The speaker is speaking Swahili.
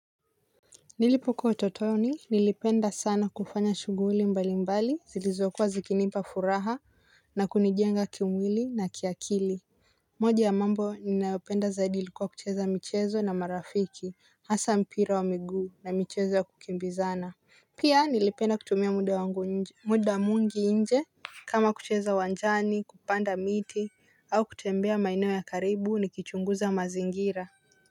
Nilipukuwa utotoni nilipenda sana kufanya shughuli mbalimbali zilizokuwa zikinipa furaha na kunijenga kimwili na kiakili. Moja ya mambo ninayopenda zaidi ilikuwa kucheza michezo na marafiki hasa mpira wa miguu na michezo ya kukimbizana. Pia nilipenda kutumia muda wangu nje muda mwingi nje. Kama kucheza uwanjani kupanda miti au kutembea maeneo ya karibu nikichunguza mazingira.